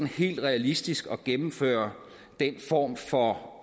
helt realistisk at gennemføre den form for